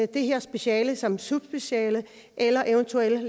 det her speciale som subspeciale eller eventuelt